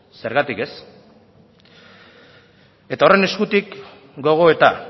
zergatik ez eta horren eskutik gogoeta